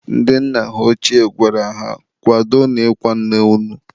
ndị nna ha ọchie gwara ha "kwadonu ịkwa nne unu!"